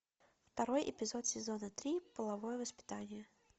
второй эпизод сезона три половое воспитание